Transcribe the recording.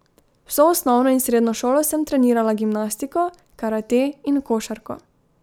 Vso osnovno in srednjo šolo sem trenirala gimnastiko, karate in košarko.